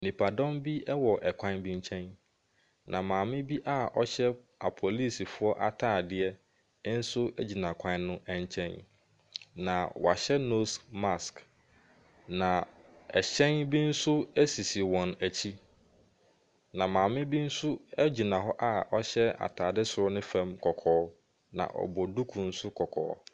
Nnipadɔm bi wɔ kwan bi nkyɛn, na maame bi a ɔhyɛ apolisifoɔ atadeɛ nso gyina kwan no nkyɛn, na wɔahyɛ nose mask, na ɛhyɛn bi nso sisi wɔn akyi. Na maame bi nso gyina hɔ a ɔhyɛ atadeɛ soro ne fam kɔkɔɔ, na ɔbɔ duku nso kɔkɔɔ.